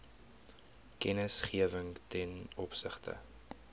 kennisgewing ten opsigte